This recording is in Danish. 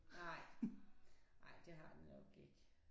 Nej nej det har det nok ikke